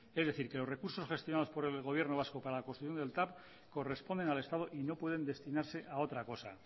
es decir que los recursos gestionados por el gobierno vasco para la construcción del tav corresponden al estado y no pueden destinarse a otra cosa